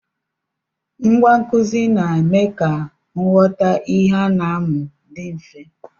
Ngwa nkụzi na-eme ka nghọta ihe a na-amụ dị mfe.